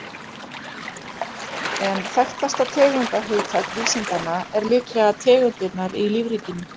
En þekktasta tegundarhugtak vísindanna er líklega tegundirnar í lífríkinu.